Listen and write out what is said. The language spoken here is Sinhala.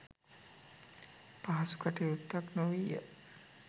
පහසු කටයුත්තක් නොවීය.